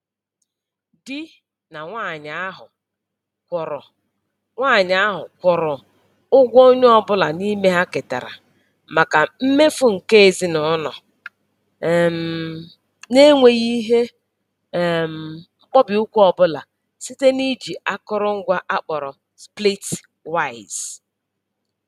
Di na nwanyị ahụ kwụrụ nwanyị ahụ kwụrụ ụgwọ onye ọbụla n'ime ha ketara maka mmefu nke ezinụlọ um n'enweghị ihe um mkpọbi ụkwụ ọbụla site na-iji akụrụngwa a kpọrọ Splitwise